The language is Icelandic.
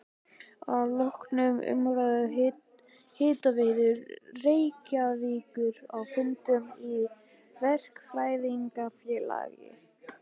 Að loknum umræðum um Hitaveitu Reykjavíkur á fundum í Verkfræðingafélagi